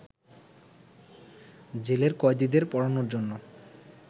জেলের কয়েদীদের পড়ানোর জন্য